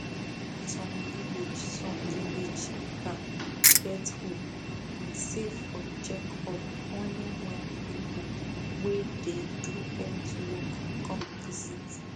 some village some village town get hope i say for check up only when people wey dey do health work come visit